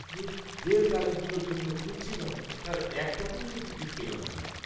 ধুস, যে তারিখগুলোর জন্য খুঁজছিলাম, তার একটাতেও তো টিকিট পেলাম না।